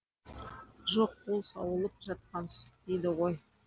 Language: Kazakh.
жоқ ол сауылып жатқан сүт дейді ғой